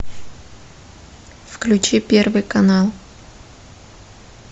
включи первый канал